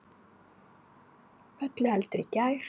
Öllu heldur í gær.